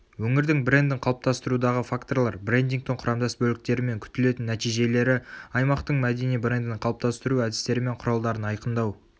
өңірдің брендін қалыптастырудағы факторлар брендингтің құрамдас бөліктері мен күтілетін нәтижелері аймақтың мәдени брендін қалыптастыру әдістері мен құралдарын айқындау